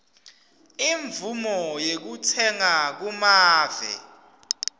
imvumo yekutsenga kumave